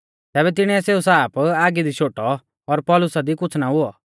तैबै तिणीऐ सेऊ साप आगी दी शोटौ और पौलुसा दी कुछ़ ना हुऔ